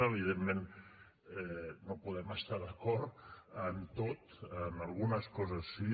evidentment no podem estar d’acord en tot en algunes coses sí